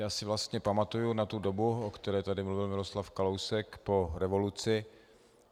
Já si vlastně pamatuju na tu dobu, o které tady mluvil Miroslav Kalousek, po revoluci.